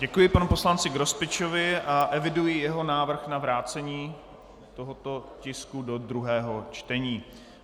Děkuji panu poslanci Grospičovi a eviduji jeho návrh na vrácení tohoto tisku do druhého čtení.